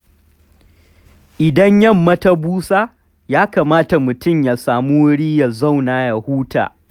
Idan yamma ta busa, ya kamata mutum ya sami wuri ya zauna ya huta.